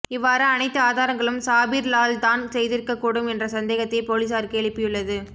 இவ்வாறு அணைத்து ஆதாரங்களும் சாபீர் லால் தான் செய்திருக்க கூடும் என்ற சந்தேகத்தை போலிஸாருக்கு எழுப்பியுள்ளது